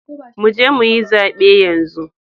Mu je mu yi zabe yanzu!